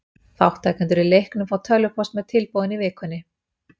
Þátttakendur í leiknum fá tölvupóst með tilboðinu í vikunni.